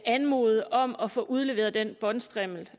anmode om at få udleveret den båndstrimmel